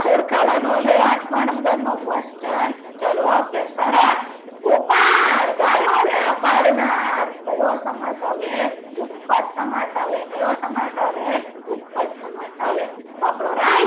ઓળખાવાનો છે આઠમા number નો question ચાલો okay સરસ ગોપાલ ગાયોને પાડનાર કયો સમાસ આવે ઉપપદ સમાસ આવે કયો સમાસ આવે ઉપપદ સમાસ આવે